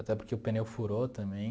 Até porque o pneu furou também.